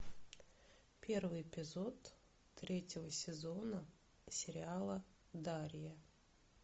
первый эпизод третьего сезона сериала дарья